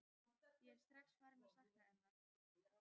Ég er strax farinn að sakna hennar.